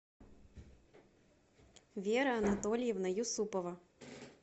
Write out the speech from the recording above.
вера анатольевна юсупова